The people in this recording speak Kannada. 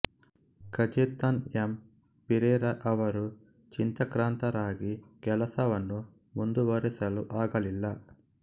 ಕಜೇತನ್ ಎಮ್ ಪಿರೇರಾ ಅವರು ಚಿಂತಾಕ್ರಾಂತರಾಗಿ ಕೆಲಸವನ್ನು ಮುಂದುವರೆಸಲು ಆಗಲಿಲ್ಲ